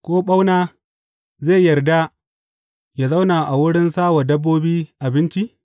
Ko ɓauna zai yarda yă zauna a wurin sa wa dabbobi abinci?